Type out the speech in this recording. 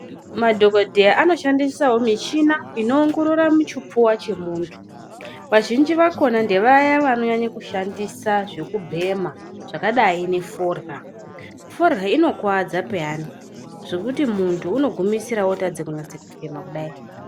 Madhokodheya anoshandisawo michina inoongorora muchipfuwa chemuntu vazhinji vakona ndevaya vanonyanya kushandisa zvekubhema zvakadayi neforya. Forya inokuwadza peyani zvokuti muntu unogumisira wotadza kunasefema kudai.